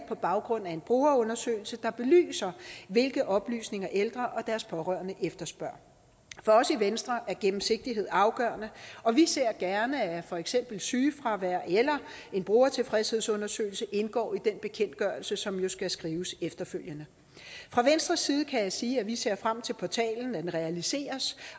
på baggrund af en brugerundersøgelse der belyser hvilke oplysninger ældre og deres pårørende efterspørger for os i venstre er gennemsigtighed afgørende og vi ser gerne at for eksempel sygefravær eller en brugertilfredshedsundersøgelse indgår i den bekendtgørelse som jo skal skrives efterfølgende fra venstres side kan jeg sige at vi ser frem til at portalen realiseres